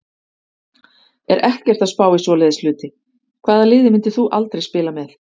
Er ekkert að spá í svoleiðis hluti Hvaða liði myndir þú aldrei spila með?